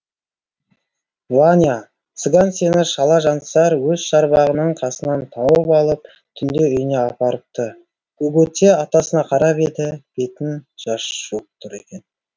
ваня цыган сені шала жансар өз шарбағының қасынан тауып алып түнде үйіне апарыпты гугуцэ атасына қарап еді бетін жас жуып тұр екен